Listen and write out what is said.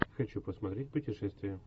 хочу посмотреть путешествия